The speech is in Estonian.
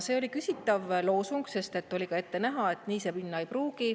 See oli küsitav loosung, sest et oli ka ette näha, et nii see minna ei pruugi.